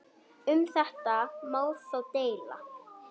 Um þetta má þó deila.